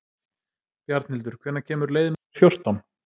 Bjarnhildur, hvenær kemur leið númer fjórtán?